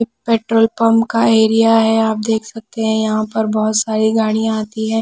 पि petrol pump का area है आप देख सकते हैं यहाँ पर बहुत सारी गाड़ियाँ आती है।